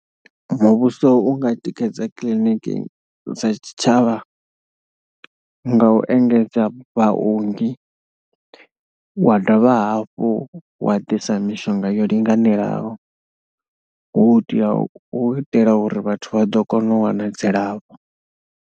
Muvhuso u nga tikedza kiḽiniki dza tshitshavha nga u engedza vhaongi, wa dovha hafhu wa ḓisa mishonga yo linganelaho hu tea u itela uri vhathu vha ḓo kona u wana dzilafho.